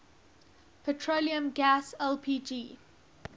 petroleum gas lpg